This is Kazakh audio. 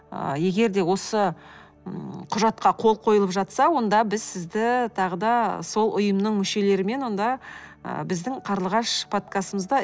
ы егер де осы м құжатқа қол қойылып жатса онда біз сізді тағы да сол ұйымның мүшелерімен онда ы біздің қарлығаш подкастымызда